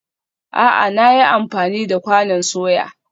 A'a, na yi amfani da kwanon soya